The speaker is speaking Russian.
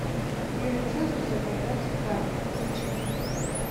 юлий цезарь завоеватель галлии включи